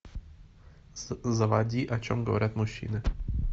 заводи о чем говорят мужчины